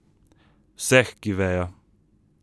Vseh, ki vejo.